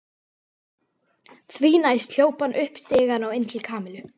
Því næst hljóp hann upp stigann og inn til Kamillu.